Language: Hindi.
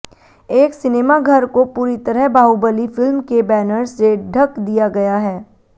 एक सिनेमा घर को पूरी तरह बाहुबली फिल्म के बैनर्स से ढ़क दिया गया है